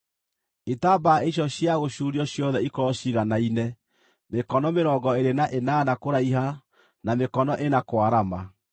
Itambaya icio cia gũcuurio ciothe ikorwo ciiganaine, mĩkono mĩrongo ĩĩrĩ na ĩnana kũraiha na mĩkono ĩna kwarama.